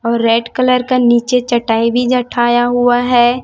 और red colour का नीचे चटाई भी जठाया हुआ है।